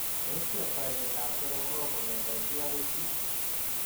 Tos kiyaptai miondoop soromok kongete chi agoi chii age?